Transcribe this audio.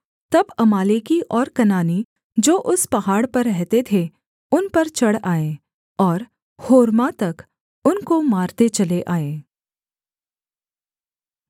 तब अमालेकी और कनानी जो उस पहाड़ पर रहते थे उन पर चढ़ आए और होर्मा तक उनको मारते चले आए